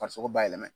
Farisogo bayɛlɛma